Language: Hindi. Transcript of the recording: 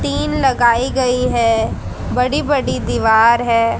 तीन लगाई गई हैं बड़ी बड़ी दीवार है।